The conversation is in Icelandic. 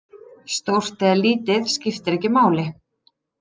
Stórt eða lítið, skiptir ekki máli.